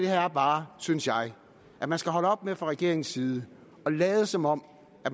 her er bare synes jeg at man skal holde op med fra regeringens side at lade som om